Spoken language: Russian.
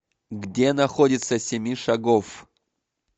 где находится семишагофф